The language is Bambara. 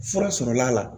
Fura sɔrɔla la